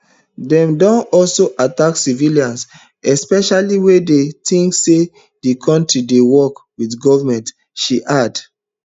dem don also attack civilians especially wen dem tink say di community dey work wit goment she add